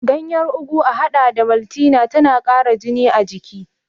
Ganyar ugu a haɗa da maltina tana ƙara jini a jiki.